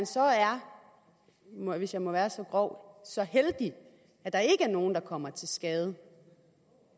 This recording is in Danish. så er hvis jeg må være så grov så heldig at der ikke er nogen der kommer til skade